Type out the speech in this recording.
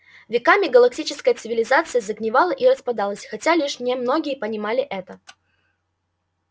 веками галактическая цивилизация загнивала и распадалась хотя лишь немногие понимали это